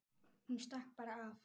Hún stakk bara af.